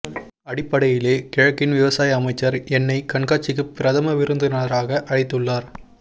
அடிப்படையிலேயே கிழக்கின் விவசாய அமைச்சர் என்னை கண்காட்சிக்குப் பிரதம விருந்தினராக அழைத்துள்ளார்